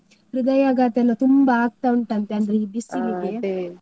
ಹೃದಯಾಘಾತ ಎಲ್ಲ ತುಂಬಾ ಆಗ್ತಾ ಉಂಟಂತೆ ಅಂದ್ರೆ ಈ .